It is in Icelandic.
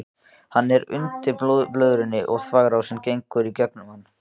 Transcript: Hann er undir blöðrunni og þvagrásin gengur í gegnum hann.